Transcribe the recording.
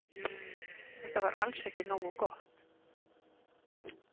Þetta var alls ekki nógu gott.